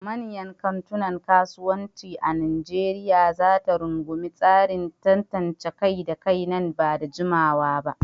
Manyan kantunan kasuwanci a Nijeriya za ta rungumi tsarin tantance kai da kai nan ba da jimawa ba.